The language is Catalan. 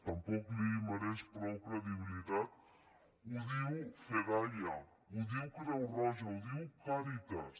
tampoc li mereix prou credibilitat ho diu fedaia ho diu creu roja ho diu càritas